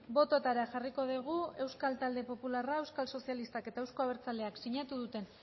bototara jarriko dugu euskal talde popularrak euskal sozialistak eta euzko abertzaleak sinatu duten